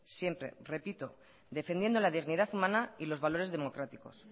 siempre repito defendiendo la dignidad humana y los valores democráticos